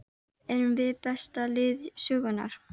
Erum við besta lið sögunnar?